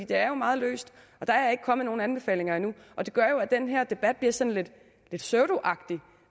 det er meget løst og der er ikke kommet nogen anbefalinger endnu og det gør jo at den her debat bliver sådan lidt pseudoagtig